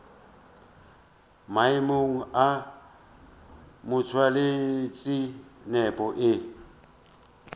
maemong a motšweletši nepo e